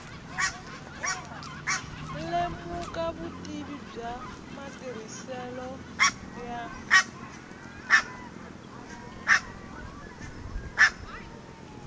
lemuka vutivi bya matirhiselo ya